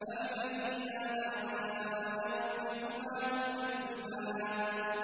فَبِأَيِّ آلَاءِ رَبِّكُمَا تُكَذِّبَانِ